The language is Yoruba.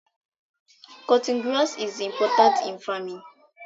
Cutting grass is important in faraming